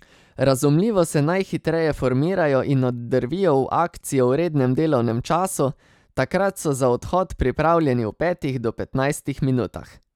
Razumljivo se najhitreje formirajo in oddrvijo v akcijo v rednem delovnem času, takrat so za odhod pripravljeni v petih do petnajstih minutah.